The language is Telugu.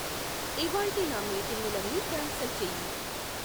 ఇవ్వాళ్టి నా మీటింగులన్నీ క్యాన్సిల్ చేయి